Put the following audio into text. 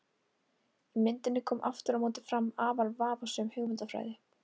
Í myndinni kom aftur á móti fram afar vafasöm hugmyndafræði.